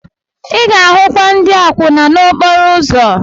Ị ga-ahụkwa ndị akwụna n'okporo ụzọ.